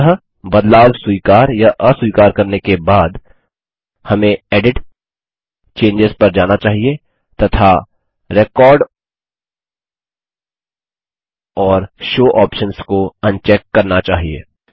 अंततः बदलाव स्वीकार या अस्वीकार करने के बाद हमें एडिट जीटीजीटी चेंजों पर जाना चाहिए तथा रेकॉर्ड और शो ऑप्शन्स को अनचेक करना चाहिए